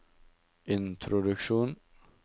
introduksjon